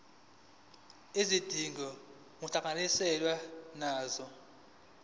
izidingo kuhlangatshezwane nazo